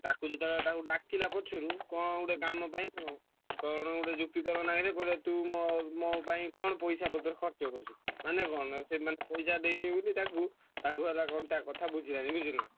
ତାକୁ ଯେତବେଳେ ତାକୁ ଡାକିଲା ପଛରୁ କଣ ଗୋଟେ କାମ ପାଇଁ ତ କଣ ଗୋଟେ ଯୁକ୍ତି ତରକ ଲାଗିଲେ ତୁ ମୋ ପାଇଁ କଣ ପଇସା ପତର ଖର୍ଚ୍ଚ କରିଛୁ? ମାନେ କଣ ସେମାନେ ପଇସା ଦେଇଦେଇଛନ୍ତି ତାକୁ ତାକୁ ହେଲା କଣ ଟାର କଥା ବୁଝିନାହାନ୍ତି ହେଲା।